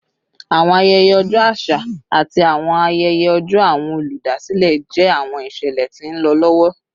Awọn ayẹyẹ ọjọ aṣa ati awọn ayẹyẹ ọjọ Awọn oludasilẹ jẹ awọn iṣẹlẹ ti nlọ lọwọ